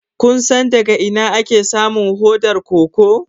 Kun san daga ina ake samun hodar koko?